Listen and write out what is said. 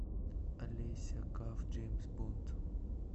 алеся каф джеймс бонд